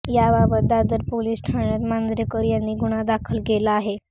याबाबत दादर पोलीस ठाण्यात मांजरेकर यांनी गुन्हा दाखल केला आहे